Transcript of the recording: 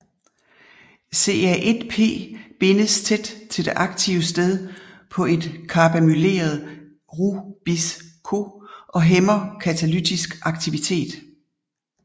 CA1P bindes tæt til det aktive sted på et karbamyleret RuBisCO og hæmmer katalytisk aktivitet